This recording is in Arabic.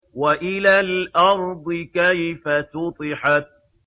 وَإِلَى الْأَرْضِ كَيْفَ سُطِحَتْ